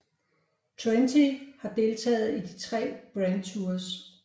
Trenti har deltaget i de tre grand tours